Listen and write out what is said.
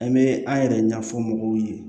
An bɛ an yɛrɛ ɲɛfɔ mɔgɔw ye